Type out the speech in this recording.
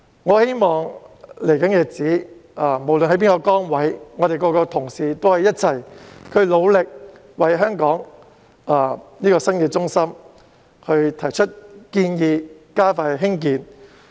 我希望在未來的日子裏，不論各位擔當甚麼崗位，亦可以一同努力，為香港這個新中心提出建議，加快興建。